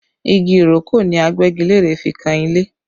Igi ìrókò ni Agbẹ́gilére fi kan ilé